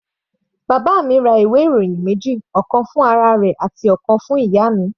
Bàbá mi ra ìwé ìròyìn méjì, ọ̀kan fún ara rẹ̀ àti ọ̀kan fún ìyá mi.